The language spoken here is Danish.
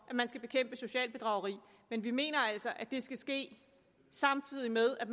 at man skal bekæmpe socialt bedrageri men vi mener altså at det skal ske samtidig med at